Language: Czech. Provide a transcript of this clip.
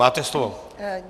Máte slovo.